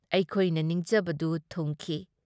ꯑꯩꯈꯣꯏꯅ ꯅꯤꯡꯖꯕꯗꯨ ꯊꯨꯡꯈꯤ ꯫